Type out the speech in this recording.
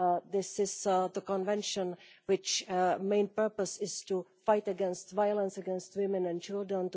This is the Convention whose main purpose is to fight against violence against women and children